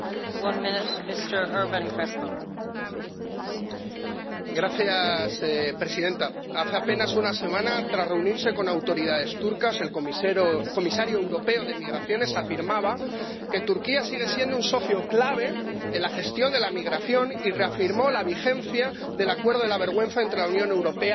Señora presidenta, hace apenas una semana, tras reunirse con autoridades turcas, el comisario europeo de Migraciones afirmaba que Turquía sigue siendo un socio clave en la gestión de la migración y reafirmó la vigencia del acuerdo de la vergüenza entre la Unión Europea y Turquía.